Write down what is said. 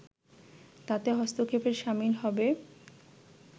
তাতে হস্তক্ষেপের শামিল হবে